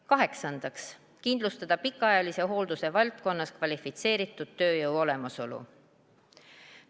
Kaheksandaks, kindlustada pikaajalise hoolduse valdkonnas kvalifitseeritud tööjõu olemasolu.